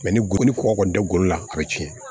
ni golokɔ kɔni dɛ golo la a bɛ tiɲɛ